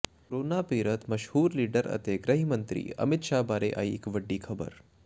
corona ਪੀੜਤ ਮਸ਼ਹੂਰ leader ਅਤੇ ਗ੍ਰਹਿ ਮੰਤਰੀ ਅਮਿਤ ਸ਼ਾਹ ਬਾਰੇ ਆਈ ਇਹ ਵੱਡੀ ਖਬਰ